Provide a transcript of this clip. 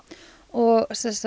og